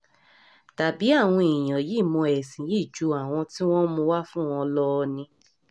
tàbí àwọn èèyàn yìí mọ ẹ̀sìn yìí ju àwọn tí wọ́n mú un wá fún wọn lọ ni